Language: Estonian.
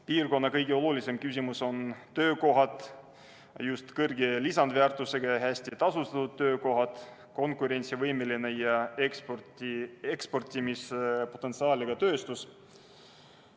Piirkonna kõige olulisem küsimus on töökohad – just kõrge lisandväärtusega ja hästi tasustatud töökohad, konkurentsivõimeline ja eksportimise potentsiaaliga tööstus.